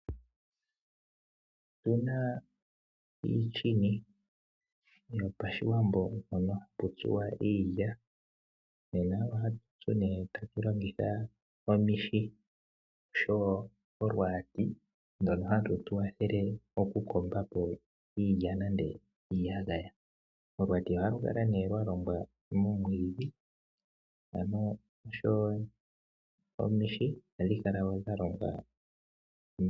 Otu na iini yopashiwambo, mpoka hapu tsilwa iilya. Ohatu tsu tatu longitha omihi oshowo oluhwati, ndoka hatu longitha ukogongela iilya uuna ya halakana oshowo okukomba po iiyagaya pehala lyokutsila. Oluhwati olwa longwa momwiidhi, dho omihi odha longwa miiti yakola noya hongwa nawa.